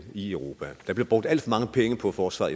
i europa der bliver brugt alt for mange penge på forsvar